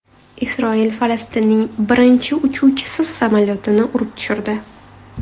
Isroil Falastinning birinchi uchuvchisiz samolyotini urib tushirdi.